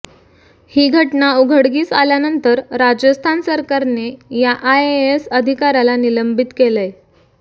ही घटना उघडकीस आल्यानंतर राजस्थान सरकारने या आयएएस अधिकाऱ्याला निलंबीत केलंय